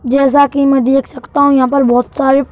जैसा कि मैं देख सकता हूं यहाँ पर बहुत सारे--